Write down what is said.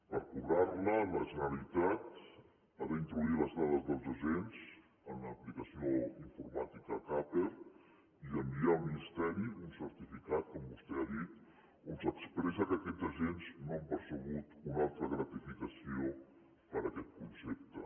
per cobrar la la generalitat ha d’introduir les dades dels agents en l’aplicació informàtica capper i enviar al ministeri un certificat com vostè ha dit on s’expressa que aquests agents no han percebut una altra gratificació per aquest concepte